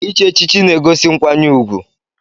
Ichi echichi na-egosi nkwanye ùgwù.